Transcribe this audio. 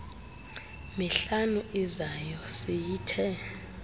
mihlanu izayo siyithe